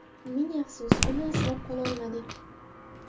Ming afsus, uni asrab qololmadik.